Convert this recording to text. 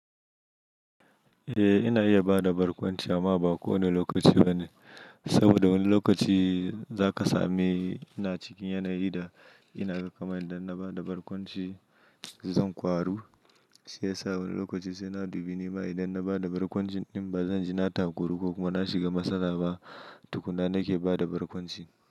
Eh, ina iya ba da barkwanci amma ba kowane lokaci ba ne, saboda wani lokaci zaka sami ina cikin yanayi da ina kama da na ba da barkwanci zan kwaru, shiyasa wani lokaci sai na dubi nema idan na ba da barkwanci in ba zan ji na takuru ko kuma na shiga matsala ba, tukuna nake ba da barkwanci.